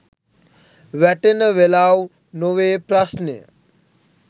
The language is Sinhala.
වැටෙන වෙලාව් නොවේ ප්‍රශ්නය